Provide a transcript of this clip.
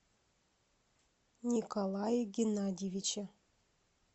николае геннадьевиче